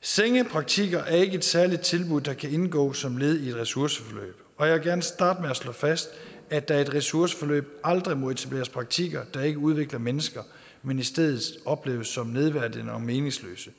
senge praktikker er ikke er særligt tilbud der kan indgå som led i et ressourceforløb og jeg vil gerne starte med at slå fast at der i et ressourceforløb aldrig må etableres praktikker der ikke udvikler mennesker men i stedet opleves som nedværdigende og meningsløse